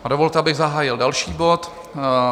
Dovolte, abych zahájil další bod